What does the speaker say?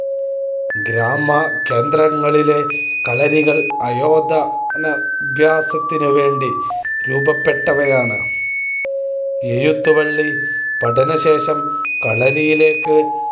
ഗ്രാമകേന്ദ്രങ്ങളിലെ കളരികൾ ആയോധനാഭ്യസനത്തിനുവേണ്ടി രൂപപ്പെട്ടവയാണ്. എഴുത്തുപള്ളി പഠനശേഷം കളരിയിലേയ്ക്ക്